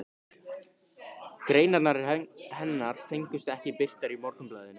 Greinarnar hennar fengust ekki birtar í Morgunblaðinu.